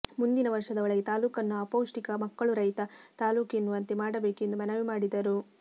ಮುಂದಿನ ವರ್ಷದ ಒಳಗೆ ತಾಲ್ಲೂಕನ್ನು ಅಪೌಷ್ಟಿಕ ಮಕ್ಕಳುರಹಿತ ತಾಲ್ಲೂಕು ಎನ್ನುವಂತೆ ಮಾಡಬೇಕು ಎಂದು ಮನವಿ ಮಾಡಿದರು